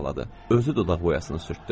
Özü dodaq boyasını sürtdü.